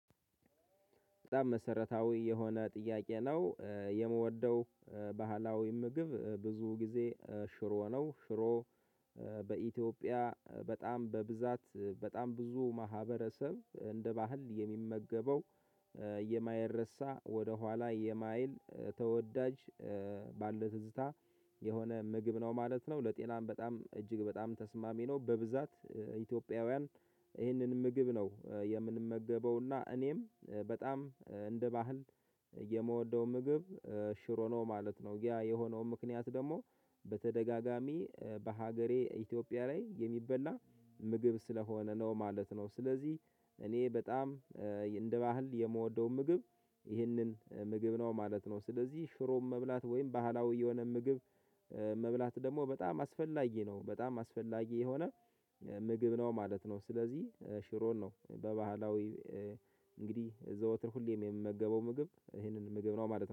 በጣም መሰረታዊ የሆነ ጥያቄ ነው የምወደው። ባህላዊ ምግብ ብዙ ጊዜ ሽሮ ነው ሽሮ በኢትዮጵያ በጣም በብዛት በጣም ብዙ ማህበረሰብ እንደ ባህል የሚመገበው። የማይረሳ ወደ ኋላ የማይል ተወዳጅ ባለው ትዝታ የሆነ ምግብ ነው ማለት ነው። ለጤናም በጣም እጅግ በጣም ተስማሚ ነው። በብዛት ኢትዮጵያውያን ይህንን ምግብ ነው የምንመገበው እና እኔም በጣም እንደ ባህል የምወደው ምግብ ሽሮ ነው ማለት ነው። ያ የሆነው ምካንያቱ ደሕግሞ በተደጋጋሚ በሀገሬ ኢትዮጵያ ላይ የሚበላ ምግብ ስለሆነ ነው ማለት ነው። ስለዚህ እኔ በጣም እንደ ባህል የምወደው ምግብ ይህንን ምግብ ነው ማለት ነው። ስለዚህ ሽሮብ መብላት ወይም ባህላዊ የሆነ ምግብ መብላት ደግሞ በጣም አስፈላጊ ነው በጣም አስፈላጊ የሆነ ምግብ ነው ማለት ነው። ስለዚህ ሽሮን ነው በባህላዊ እንግዲህ ዘወትር ሁሌም የምመገበው ምግብ ይህንን ምግብ ነው ማለት ነው